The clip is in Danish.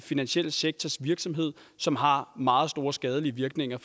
finansielle sektors virksomhed som har meget store skadelige virkninger